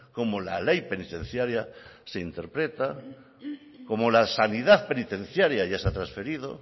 cómo la ley penitenciaria se interpreta cómo la sanidad penitenciaria ya se ha trasferido